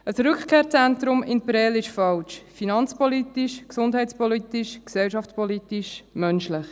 Ein Rückkehrzentrum in Prêles ist falsch – finanzpolitisch, gesundheitspolitisch, gesellschaftspolitisch, menschlich.